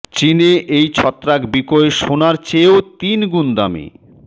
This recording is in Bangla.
চিনে এই ছত্রাক বিকোয় সোনার চেয়েও তিন গুণ দামে